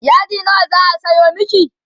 yadi nawa zaa Sayo maki?